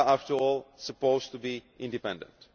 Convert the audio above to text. They are, after all, supposed to be independent.